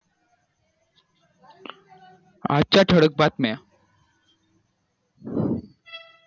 आजच्या ठळक बातम्या